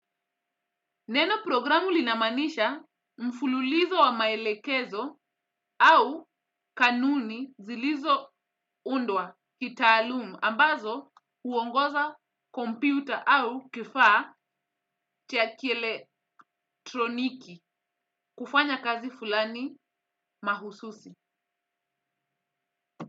Neno programu linamanisha mfululizo wa maelekezo au kanuni zilizo undwa kitaalum ambazo huongoza kompyuta au kifaa cha kieletroniki kufanya kazi fulani mahususi.